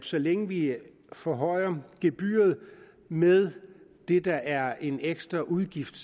så længe vi forhøjer gebyret med det der er en ekstra udgift